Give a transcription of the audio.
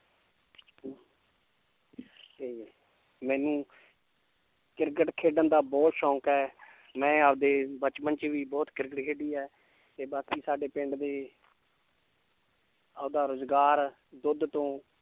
ਤੇ ਮੈਨੂੰ ਕ੍ਰਿਕਟ ਖੇਡਣ ਦਾ ਬਹੁਤ ਸ਼ੌਂਕ ਹੈ ਮੈਂ ਆਪਦੇ ਬਚਪਨ 'ਚ ਵੀ ਬਹੁਤ ਕ੍ਰਿਕਟ ਖੇਡੀ ਹੈ ਤੇ ਬਾਕੀ ਸਾਡੇ ਪਿੰਡ ਦੇ ਆਪਦਾ ਰੁਜ਼ਗਾਰ ਦੁੱਧ ਤੋਂ